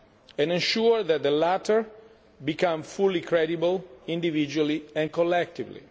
so far, and ensure that the latter become fully credible, individually and collectively.